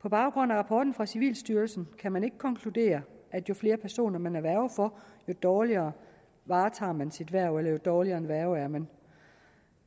på baggrund af rapporten fra civilstyrelsen kan man ikke konkludere at jo flere personer man er værge for jo dårligere varetager man sit hverv eller jo dårligere en værge er man